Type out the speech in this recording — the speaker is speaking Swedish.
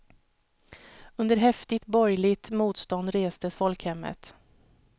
Under häftigt borgerligt motstånd restes folkhemmet.